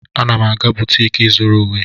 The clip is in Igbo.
M na-aga butiki ịzụrụ uwe.